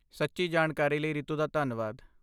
ਸੱਚੀ ਜਾਣਕਾਰੀ ਲਈ ਰੀਤੂ ਦਾ ਧੰਨਵਾਦ।